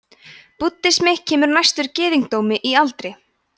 búddismi kemur næstur gyðingdómi í aldri